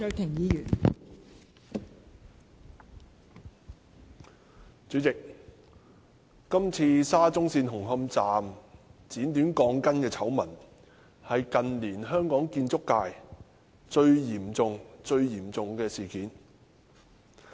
代理主席，今次沙中線紅磡站剪短鋼筋的醜聞是近年香港建築界最嚴重的事件。